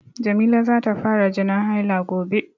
Jamila za ta fara jinin haila gobe.